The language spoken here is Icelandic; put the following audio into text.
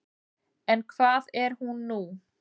En hvað er hún nú?